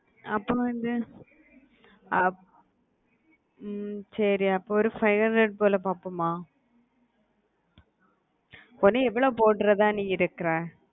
அப்புறம் வந்து ஹம் சரி அப்போ ஒரு five hundred போல பாப்போமா பொன்னே எவ்ளோ போடுறதா நீ இருக்குற